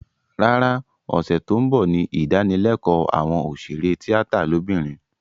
Rárá, ọ̀sẹ̀ tó ń bọ̀ ní ìdánilékòó àwọn òṣèré tíátà lóbìnrin